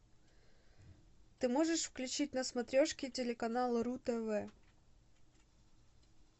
ты можешь включить на смотрешке телеканал ру тв